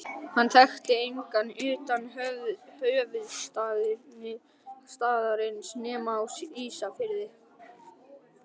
Hann þekkti engan utan höfuðstaðarins nema á Ísafirði.